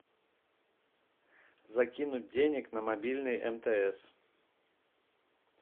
закинуть денег на мобильный мтс